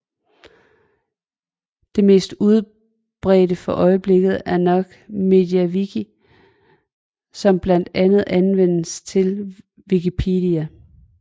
Det mest udbredte for øjeblikket er nok MediaWiki der blandt andet anvendes til Wikipedia